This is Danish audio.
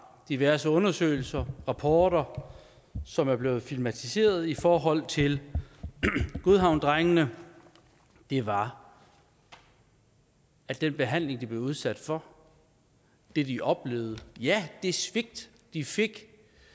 diverse undersøgelser rapporter som er blevet filmatiseret i forhold til godhavnsdrengene var at den behandling de blev udsat for det de oplevede ja det svigt de fik